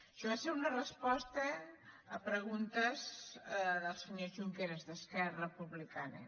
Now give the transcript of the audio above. això va ser una resposta a preguntes del senyor junqueras d’esquerra republicana